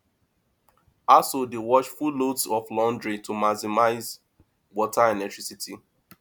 households dey wash full loads of laundry to maximize water and electricity usage